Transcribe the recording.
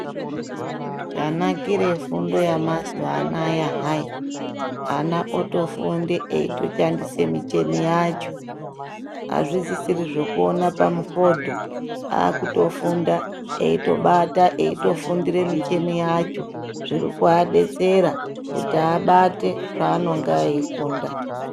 Chanakire fundo yamazuwanaya hai ana otofunde eitoshandise micheni yacho azvisisri zvekuona pamufodho akutofunda eitobata eitofundire micheni yacho zvirikuadetsera kuti abate zvavanonga eifunda.